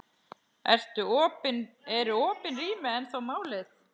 Eru opin rými ennþá málið?